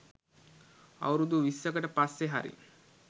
අවුරුදු විස්සකට පස්සෙ හරි